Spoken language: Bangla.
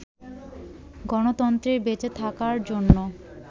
গণতন্ত্রের বেঁচে থাকার জন্য